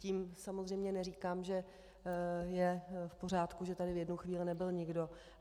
Tím samozřejmě neříkám, že je v pořádku, že tady v jednu chvíli nebyl nikdo.